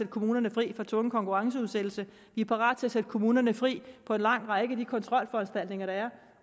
kommunerne fri for tvungen konkurrenceudsættelse vi er parate til at gøre kommunerne fri for en lang række af de kontrolforanstaltninger der er